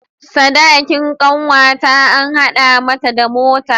Sadakin kanwata an hada mata da mota.